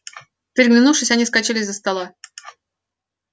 переглянувшись они вскочили из-за стола